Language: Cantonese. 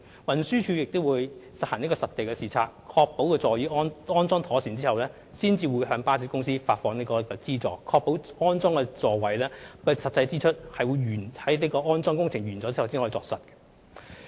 運輸署亦會進行實地視察，確保座椅已安裝妥當，然後才向巴士公司發放資助，藉以確保安裝座位的實際支出是在安裝工程完成後才落實。